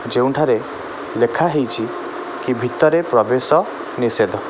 ଯେଉଁଠାରେ ଲେଖା ହେଇଚି କି ଭିତରେ ପ୍ରବେଶ ନିଷେଧ।